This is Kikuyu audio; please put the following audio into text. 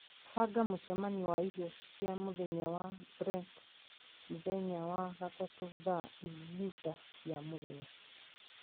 banga mũcemanio wa irio cia mũthenya na Brent mũthenya wa gatatũ thaa thita cia mũthenya